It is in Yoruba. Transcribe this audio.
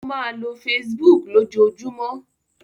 Ó máa lo Facebook lójoojúmọ́.